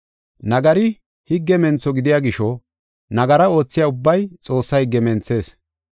Nagari higge mentho gidiya gisho nagara oothiya ubbay Xoossaa higge menthees.